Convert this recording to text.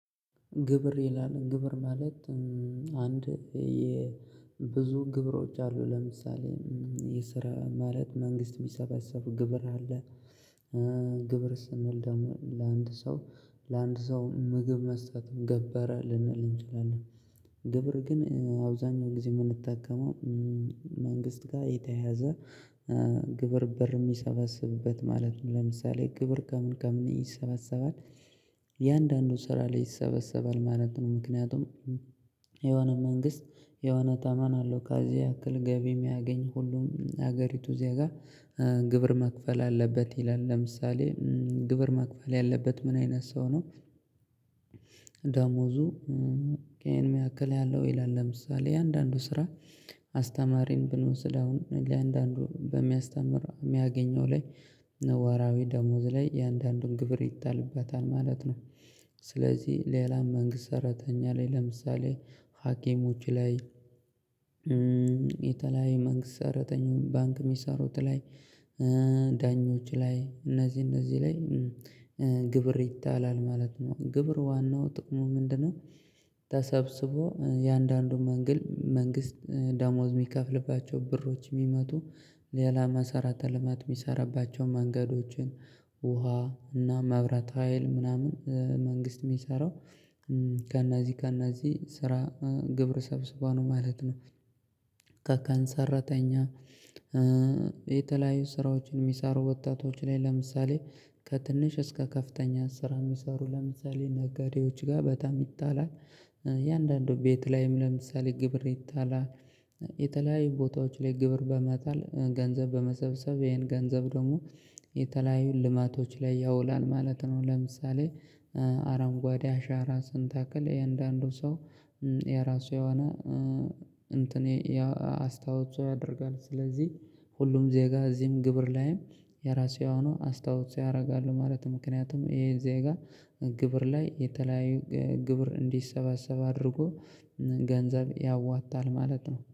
ግብር ይላል ግብር ማለት አንድ የብዙ ግብሮች አሉ ለምሳሌ የስራ ማለት መንግስት የሚሰበሰቡ ግብር አለ። ግብር ስንል ደግሞ ለአንድ ሰው ለአንድ ሰው ምግብ መስጠትም ገበረ ልንል እንችላለን። ግብር ግን አብዛኛው ጊዜ የምንጠቀመው መንግስት ጋር የተያያዘ ግብር ብር የሚሰባስብበት ማለት ነው። ለምሳሌ ግብር ከምን ከምን ይሰበሰባል እያአንዳንዱ ስራ ላይ ይሰበሰባል ማለት ነው። ምክንያቱም የሆነ መንግስት የሆነ ታማን አለው ካዚ ያክል ገቢ የሚያገኝ ሁሉም ሀገሪቱ ዜጋ ግብር መክፈል አለበት ይላል ለምሳሌ ግብር መክፈል ያለበት ምን አይነት ሰው ነው? ደሞዙ እሄን ያክል ያለው ይላል ለምሳሌ እያንዳንዱ ስራ አስተማሪም ብንወስድ አሁን ለእያንዳንዱ በሚያስተምር የሚያገኘው ላይ ወራዊ ደሞዝ ላይ የአንዳንዱን ግብር ይጣልበታል ማለት ነው። ስለዚህ ሌላ መንግስት ሰራተኛ ላይ ለምሳሌ ሀኪሞች ላይ የተለያየ መንግስት ሰራተኛውን ባንክ ሚሰሮት ላይ ዳኞች ላይ እነዚህ እነዚህ ላይ ግብር ይታጣላል ማለት ነው። ግብር ዋናው ጥቅሙ ምንድነው? ተሰብስቦ እያንዳንዱ መንግስት ደሞዝ የሚከፍልባቸው ብሮች የሚመጡ ሌላ መሰራተ ልማት የሚሰራባቸውን መንገዶችን ውሃ እና መብረት ሀይል ምናምን መንግስት የሚሰራው ከእነዚህ ከእነዚህ ስራ ግብረ ሰብስቦ ነው ማለት ነው። ከቃን ሰራተኛ የተለያዩ ስራዎችን የሚሳሩ ወጣቶች ላይ ለምሳሌ ከትንሽ እስከ ከፍተኛ ስራ የሚሰሩ ለምሳሌ ነገዴዎች ጋር በጣም ይጣላል የአንዳንዱ ቤት ላይም ለምሳሌ ግብር ይታላለ የተለያዩ ቦታዎች ላይ ግብር በመጣል ገንዘብ በመሰብሰብ ይሄን ገንዘብ ደግሞ የተለያዩ ልማቶች ላይ ያውላል ማለት ነው። ለምሳሌ አረንጓዴ አሻራ ስንተክል እያንዳንዱ ሰው የራሱ የሆነ እንትን አስተዋፅኦ ያደርጋል ስለዚህ ሁሉም ዜጋ እዚህም ግብር ላይም የራሱ የሆነ አስተዋፅኦ ያደርጋሉ ማለት ምክንያቱም ይሄ ዜጋ ግብር ላይ የተለያዩ ግብር እንዲሰባሰብ አድርጎ ገንዘብ ያዋታል ማለት ነው